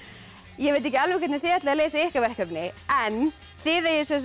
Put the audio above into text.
ég veit ekki alveg hvernig þið ætlið að leysa ykkar verkefni en þið eigið